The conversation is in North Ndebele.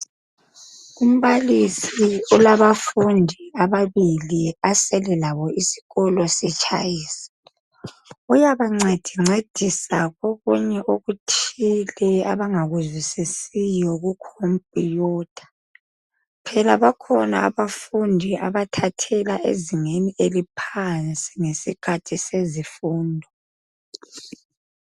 Umbalisi ulabafundi ababili asele labo isikolo sitshayisa. Uyabancedincedisa kokunye okuthile abangakuzwisisiyo ku computer. Phela bakhona abafundi abathathela ezingeni eliphansi ngesikhathi sezifundo.